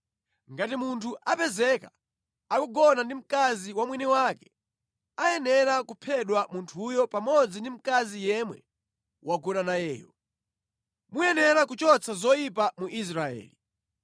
Ngati munthu apezeka akugona ndi mkazi wa mwini wake, ayenera kuphedwa munthuyo pamodzi ndi mkazi yemwe wagona nayeyo. Muyenera kuchotsa zoyipa mu Israeli.